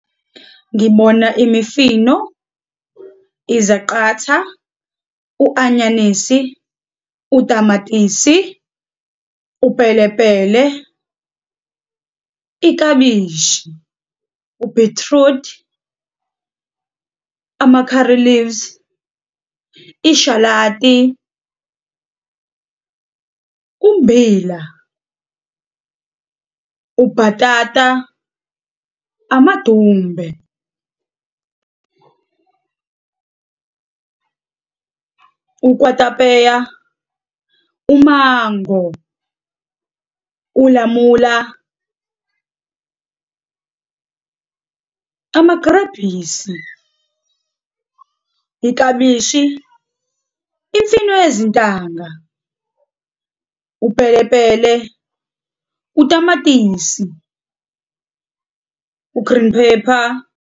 Ngibona imifino, izaqatha, u-anyanisi, utamatisi, upelepele, iklabishi, ubhithrudi, ama-curry leaves, ishalati, ummbila, ubhatata, amadumbe, ukwatapeya, umango, ulamula, amagrabhisi, iklabishi, imfino yezintanga, upelepele, utamatisi, u-green pepper.